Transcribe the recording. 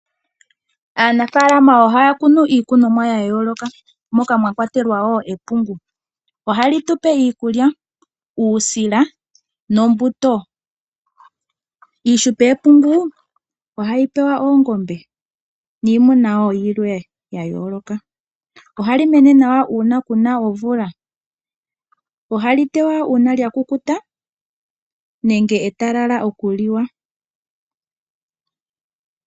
Aanafaalama ohaya kunu iikunomwa yayooloka moka mwakwatelwa wo epungu. Ohali tupe iikulya, uusila nombuto. Iishupe yepungu ohayi pewa oongombe niimuna wo yilwe yayooloka. Ohali mene nawa uuna kuna omvula, ohali tewa uuna lyakukuta nenge etalala okuliwa.